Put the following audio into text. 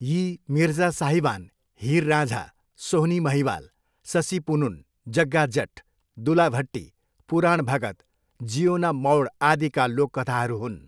यी मिर्जा साहिबान, हिर राँझा, सोहनी महिवाल, ससी पुनुन, जग्गा जट, दुल्ला भट्टी, पुराण भगत, जिओना मौड आदिका लोककथाहरू हुन्।